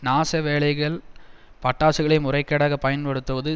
நாசவேலைகள் பட்டாசுகளை முறைகேடாக பயன்படுத்துவது